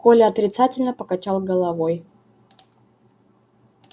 коля отрицательно покачал головой